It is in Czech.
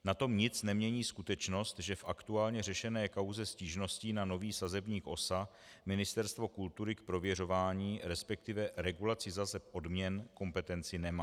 Na tom nic nemění skutečnost, že v aktuálně řešené kauze stížností na nový sazebník OSA Ministerstvo kultury k prověřování, respektive k regulaci sazeb odměn, kompetenci nemá.